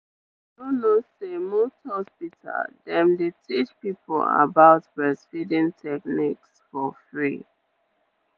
you know know say most hospital dem dey teach people about breastfeeding techniques for free.